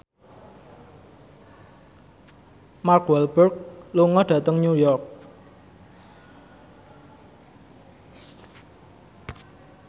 Mark Walberg lunga dhateng New York